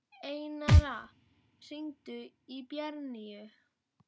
Einara, hringdu í Bjarnnýju.